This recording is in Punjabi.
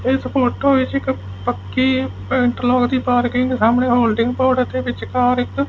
ਇਸ ਫੋਟੋ ਵਿੱਚ ਇੱਕ ਪੱਕੀ ਇੰਟਰਲੋਕ ਦੀ ਪਾਰਕਿੰਗ ਤੇ ਸਾਹਮਣੇ ਹੋਲਡਿੰਗ ਬੋਰਡ ਰਖੇ ਅਤੇ ਵਿਚਕਾਰ ਇੱਕ--